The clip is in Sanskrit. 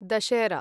दशेहरा